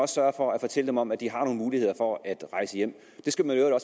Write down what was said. sørge for at fortælle dem om at de har nogle muligheder for at rejse hjem det skal man jo